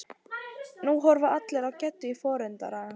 Nú horfa allir á Geddu í forundran.